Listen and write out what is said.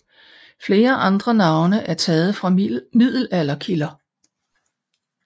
Flere andre navne er taget fra middelalderkilder